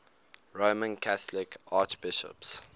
roman catholic archbishops